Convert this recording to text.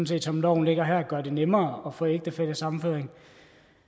set som loven ligger her gør det nemmere at få ægtefællesammenføring